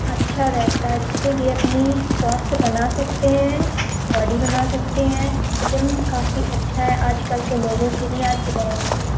अच्छा रहता है जैसे कि अपनी स्वास्थ बना सकते हैं। बॉडी बना सकते हैं। जिम काफी अच्छा है आज-कल के लोगो के लिए। आज-कल के दौर --